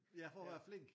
Ja for at være flink